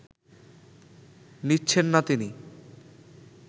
নিচ্ছেন না তিনি